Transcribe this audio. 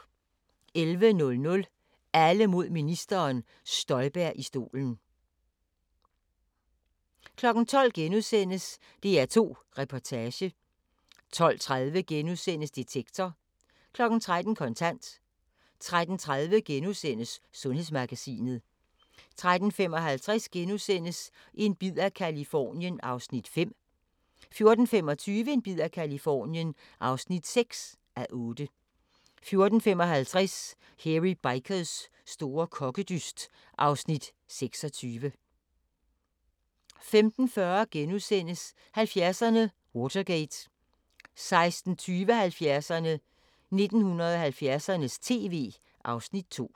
11:00: Alle mod ministeren: Støjberg i stolen 12:00: DR2 Reportage * 12:30: Detektor * 13:00: Kontant 13:30: Sundhedsmagasinet * 13:55: En bid af Californien (5:8)* 14:25: En bid af Californien (6:8) 14:55: Hairy Bikers store kokkedyst (Afs. 26) 15:40: 70'erne: Watergate * 16:20: 70'erne: 1970'ernes tv (Afs. 2)